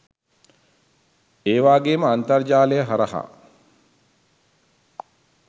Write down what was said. ඒවාගේම අන්තර්ජාලය හරහා